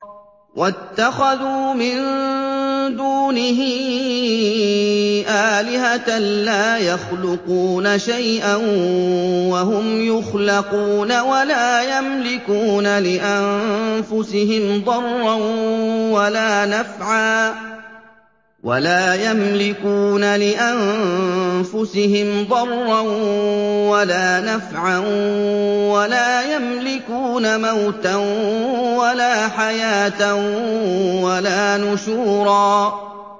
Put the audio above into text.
وَاتَّخَذُوا مِن دُونِهِ آلِهَةً لَّا يَخْلُقُونَ شَيْئًا وَهُمْ يُخْلَقُونَ وَلَا يَمْلِكُونَ لِأَنفُسِهِمْ ضَرًّا وَلَا نَفْعًا وَلَا يَمْلِكُونَ مَوْتًا وَلَا حَيَاةً وَلَا نُشُورًا